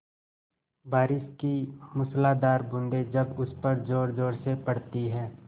बारिश की मूसलाधार बूँदें जब उस पर ज़ोरज़ोर से पड़ती हैं